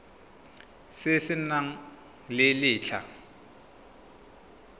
se se nang le letlha